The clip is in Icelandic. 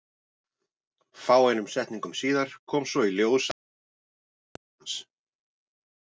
Fáeinum setningum síðar kom svo í ljós að Hermann var tengdafaðir hans.